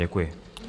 Děkuji.